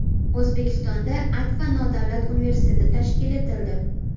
O‘zbekistonda Akfa nodavlat universiteti tashkil etildi.